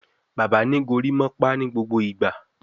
Bàbá ní gorimopa nigbogbo ìgbà